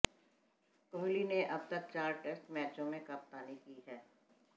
कोहली ने अब तक चार टेस्ट मैचों में कप्तानी की है